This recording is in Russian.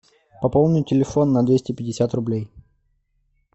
пополнить телефон на двести пятьдесят рублей